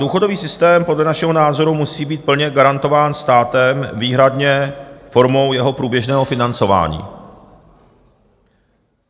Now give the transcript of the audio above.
Důchodový systém podle našeho názoru musí být plně garantován státem výhradně formou jeho průběžného financování.